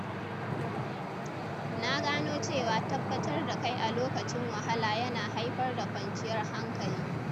Na gano cewa tabbatar da kai a lokacin wahala ya na haifar da kwanciyar hankali.